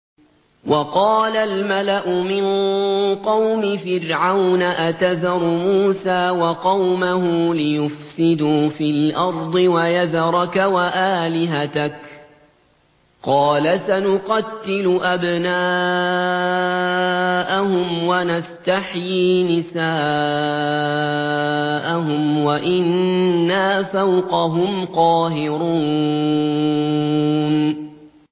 وَقَالَ الْمَلَأُ مِن قَوْمِ فِرْعَوْنَ أَتَذَرُ مُوسَىٰ وَقَوْمَهُ لِيُفْسِدُوا فِي الْأَرْضِ وَيَذَرَكَ وَآلِهَتَكَ ۚ قَالَ سَنُقَتِّلُ أَبْنَاءَهُمْ وَنَسْتَحْيِي نِسَاءَهُمْ وَإِنَّا فَوْقَهُمْ قَاهِرُونَ